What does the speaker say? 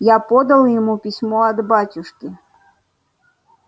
я подал ему письмо от батюшки